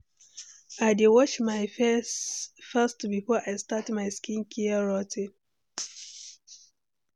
I dey wash my face first before I start my skincare routine.